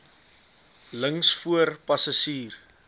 links voor passasier